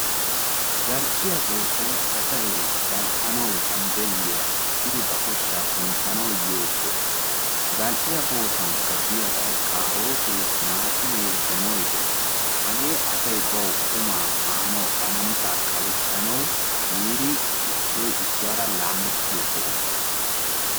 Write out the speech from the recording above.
Zal"eiya bootay asay zambbeeliya ekkidi ba koshshaa kunttanawu yiyo soho. zal'iya boottaankka diyaabay karotee, timattimme, donoy dees. Hagee asay qummaa maanawu ba namissaakka kalssanawu yiiri issoy issuwara laamettiyo soho.